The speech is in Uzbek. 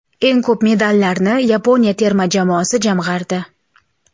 Eng ko‘p medallarni Yaponiya terma jamoasi jamg‘ardi.